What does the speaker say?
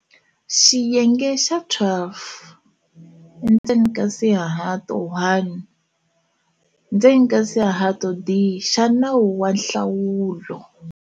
Xiyenge xa 12 endzeni ka swihato 1, endzeni ka swihato d, xa Nawu wa Nhlawulo.